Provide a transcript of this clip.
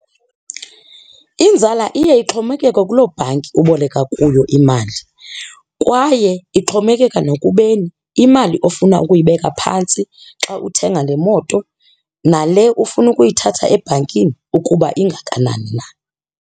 Inzala iye ixhomekeke kuloo bhanki uboleka kuyo imali kwaye ixhomekeka nokubeni imali ofuna ukuyibeka phantsi xa uthenga le moto nale ufuna ukuyithatha ebhankini ukuba ingakanani na.